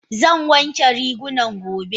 Zan wanke rigunan gobe.